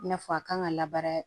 I n'a fɔ a kan ka labaara